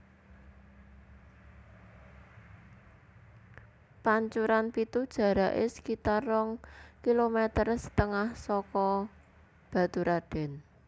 Pancuran Pitu jaraké sekitar rong kilometer setengah saka Baturadèn